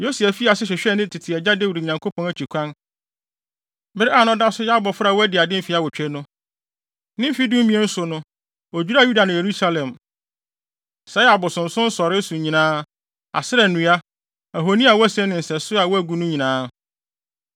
Yosia fii ase hwehwɛɛ ne tete agya Dawid Nyankopɔn akyi kwan bere a na ɔda so yɛ abofra a wadi ade mfe awotwe no. Ne mfe dumien so no, odwiraa Yuda ne Yerusalem, sɛee abosonsom nsɔree so nyinaa, Asera nnua, ahoni a wɔasen ne nsɛsode a wɔagu no nyinaa.